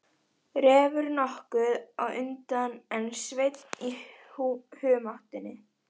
Refur nokkuð á undan en Sveinn í humáttinni.